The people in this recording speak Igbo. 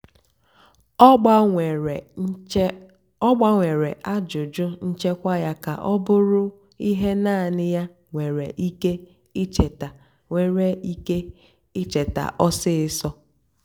ọ́ gbanwèré àjụ́jụ́ nchèkwà yá kà ọ́ bụ́rụ́ íhé náànị́ yá nwèrè íké íchétá nwèrè íké íchétá ọ́sisọ́.